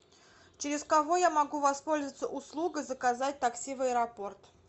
через кого я могу воспользоваться услугой заказать такси в аэропорт